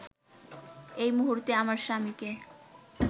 এই মুহূর্তে আমার স্বামীকে